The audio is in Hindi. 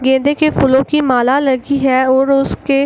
ये देखिये फूलो की माला लगी है और उसके --